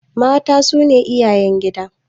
Mata su ne iyayen gida.